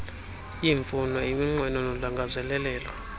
iimfuno iminqweno nolangazelelo